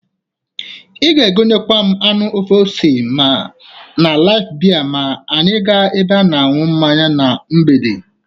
I ga-egonyekwa m anụ ofe ose na Laif bie ma anya ga ebe ịṅụ mmanya na mgbede.